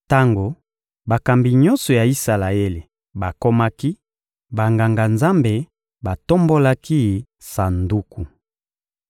Tango bakambi nyonso ya Isalaele bakomaki, Banganga-Nzambe batombolaki Sanduku.